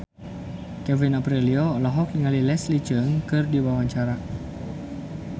Kevin Aprilio olohok ningali Leslie Cheung keur diwawancara